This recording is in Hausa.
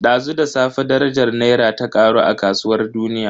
Dazu da safe darajar Naira ta karu a kasuwar duniya.